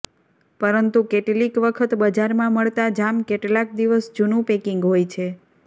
પરંતુ કેટલીક વખત બજારમાં મળતા જામ કેટલાક દિવસ જુનું પેકિંગ હોય છે